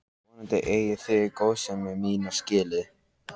Vonandi eigið þið góðsemi mína skilið.